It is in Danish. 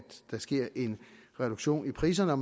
der sker en reduktion i priserne og